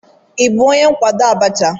Ị bụ onye nkwado Abacha?